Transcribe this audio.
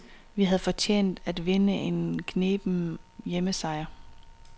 Vi havde fortjent at vinde en kneben hjemmesejr.